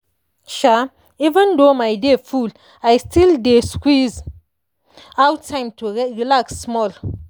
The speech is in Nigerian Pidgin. um even though my day full i still dey squeeze out time to relax small.